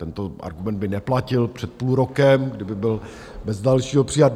Tento argument by neplatil před půl rokem, kdyby byl bez dalšího přijat.